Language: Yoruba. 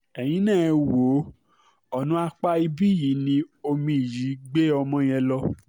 ẹ̀yìn náà ẹ wò ó ọ̀nà apá ibí yìí ni omi yìí gbé ọmọ yẹn lọ